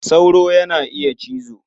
Sauro yana iya cizo.